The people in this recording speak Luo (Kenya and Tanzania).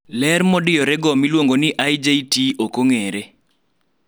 ler modiyore go(IJT) okong'ere